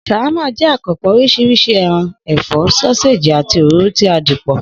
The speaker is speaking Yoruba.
S̩àwámà jé̩ àkànpò̩ orís̩irís̩i e̩ran, è̩fó̩, só̩séèjì, àti òróró tí a dì pò